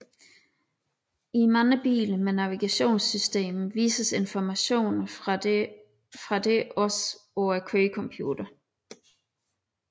I mange biler med navigationssystem vises informationer fra dette også på kørecomputeren